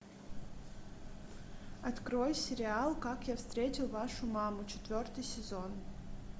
открой сериал как я встретил вашу маму четвертый сезон